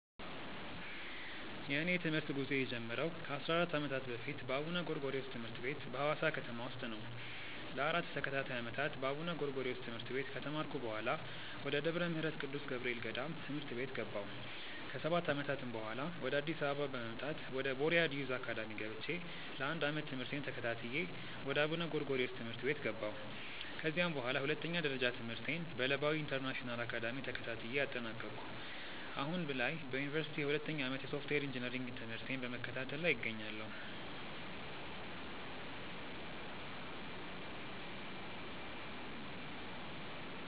የእኔ የትምህርት ጉዞ የጀመረው ከ 14 ዓመታት በፊት በአቡነ ጎርጎሪዎስ ትምህርት ቤት በሀዋሳ ከተማ ውስጥ ነው። ለ 4 ተከታታይ ዓመታት በአቡነ ጎርጎሪዮስ ትምህርት ቤት ከተማርኩ በኃላ፣ ወደ ደብረ ምህረት ቅዱስ ገብርኤል ገዳም ትምህርት ቤት ገባሁ። ከ 7 ዓመታትም በኃላ፣ ወደ አዲስ አበባ በመምጣት ወደ ቦርያድ ዮዝ አካዳሚ ገብቼ ለ 1 ዓመት ትምህርቴን ተከታትዬ ወደ አቡነ ጎርጎሪዮስ ትምህርት ቤት ገባሁ። ከዚያም በኃላ ሁለተኛ ደረጃ ትምህርቴን በለባዊ ኢንተርናሽናል አካዳሚ ተከታትዬ አጠናቀኩ። አሁን ላይ በዮኒቨርሲቲ የሁለተኛ ዓመት የሶፍትዌር ኢንጂነሪንግ ትምህርቴን በመከታተል ላይ እገኛለሁ።